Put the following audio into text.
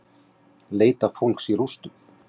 Leita fólks í rústum